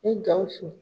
Ni gawusu